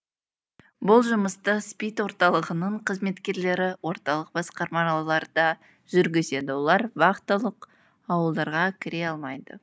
бұл жұмысты спид орталығының қызметкерлері орталық басқармаларда жүргізеді олар вахталық ауылдарға кіре алмайды